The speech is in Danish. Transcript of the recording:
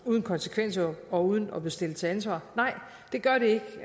uden konsekvenser og uden at blive stillet til ansvar nej det gør det ikke